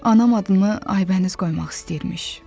Anam adımı Aybəniz qoymaq istəyirmiş.